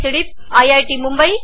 मुंबईतर्फे तुमची रजा घेते